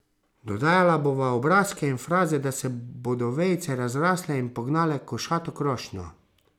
Dodajala bova obrazke in fraze, da se bodo vejice razrasle in pognale košato krošnjo.